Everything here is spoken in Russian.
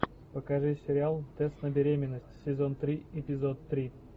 покажи сериал тест на беременность сезон три эпизод три